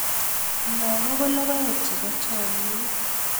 lagok ko logoek chebo chamiet